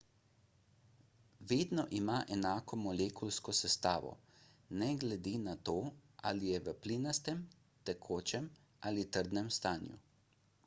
vedno ima enako molekulsko sestavo ne glede na to ali je v plinastem tekočem ali trdnem stanju